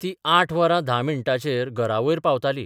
ती आठ वरां धा मिण्टांचेर घरावयर पावताली.